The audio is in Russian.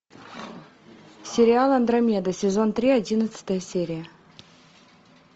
сериал андромеда сезон три одиннадцатая серия